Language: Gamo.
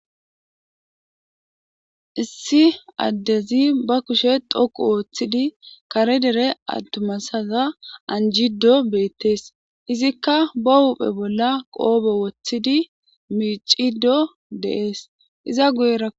Issi adezi ba kushe dhoqu otidi kare dere atuma asaza anjido betes izika ba huphe bola qobe wotidi mic'idi de'es iza guyera.